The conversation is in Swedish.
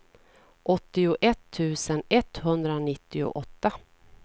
åttioett tusen etthundranittioåtta